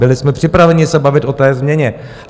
Byli jsme připraveni se bavit o té změně.